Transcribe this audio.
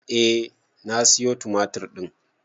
Eh na sayo tumatir ɗin.